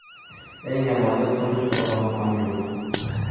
Eng yomoni turmush o‘rtog‘im ham yo‘q.